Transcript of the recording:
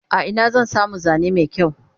a Ina zan samu Zane Mai kyau?